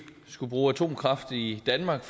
skulle bruge atomkraft i danmark